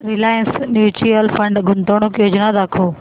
Reliance mutual fund गुंतवणूक योजना दाखव